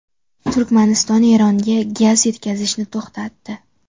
Turkmaniston Eronga gaz yetkazishni to‘xtatdi.